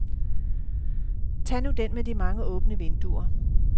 Tag nu den med de mange åbne vinduer.